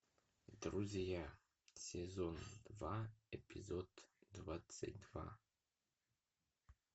друзья сезон два эпизод двадцать два